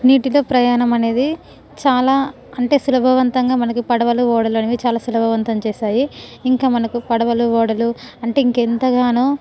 నిట్టితో ప్రయాణము అనేది చాల అంటే సులభవంతంగా మనకు పడవలు ఓడలు అనేవి చాల సులభవంతం చేసాయి . ఇంకా మనకు పడవలు ఓడలు అంటే ఇంకా ఎంతగానో --